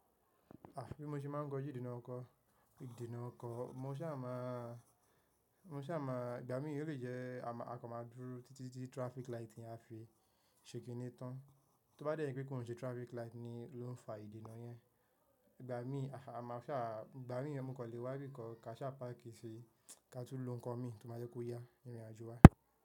Àfi bí mo ṣe máa ń gba ojude nà nkọ̀, ìdí nà ọkọ̀, mo sì a má a, mo sì a má a, ìgbà mí yìí o le jẹ́ a má a kọ má a dúró títí tí traffic light yẹn a fi ṣèkínní tán. Tí ó bá dé jẹ pé kòún ṣe traffic light ló ń fa ìdenà yẹn, ìgbà mí, ama sa, igba mii mo kan le wa bikan ka sa pàkí sí ka tú ló ńkan mí to ma jẹ́ kó yá ìrìn àjò wa.